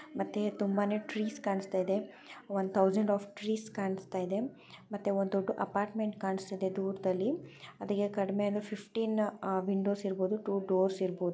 ಮತ್ತೆ ತುಂಬಾನೇ ಟಿರಿಸ್ ಕಾಣತಾ ಇದೆ ಒಂದು ಥೌಸಂಡ್ ಆಫ್ ಟ್ರೀಸ್ ಕಾಣ್ಸತ ಇದೆ ಮತ್ತೆ ಒಂದು ಅಪರ್ಟ್ಮೆಂಟ್ ಕಾಣಿಸುತ್ತ ಇದೆ ದೂರದಲ್ಲಿ ಅದ್ಕೆ ಕಡಿಮೆ ಅಂದ್ರೆ ಫಿಫ್ಟ್ನ್ಯ್ ವಿಂಡೋಸ್ ಇರಬಹುದು ಟೂ ಡೋರ್ಸ್ ಇರಬಹುದು.